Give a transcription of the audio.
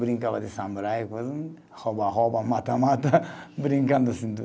Brincava de samurai, coisa, rouba-rouba, mata-mata, brincando assim